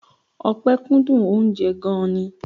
Ọpẹ kúndùn oúnjẹ gan-an ni.